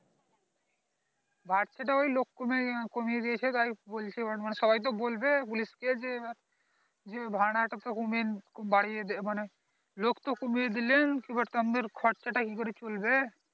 বাড়ছে তো ওই লোক কমে কমিয়ে দিয়েছে তাই বলছে সবাই তো বলবে পুলিশ কে যে ভাড়া অনাটা অমেন বারিয়ে দেন মানে লোক তো কমিয়ে দিলে খরচা টা কি করে চলবে